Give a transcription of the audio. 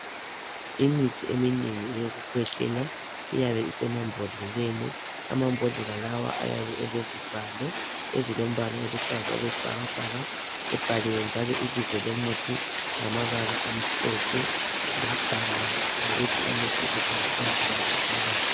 Imithi eminengi eyokukhwehlela iyabe isemambodleleni amabhodlela lawo ayabe elezivalo ezilombala oluhlaza okwesibhakabhaka ebhaliwe njalo ibizo lomuthi ngamabala amhlophe labhalwa lokuthi umuthi usetshenziswa njani ophakathi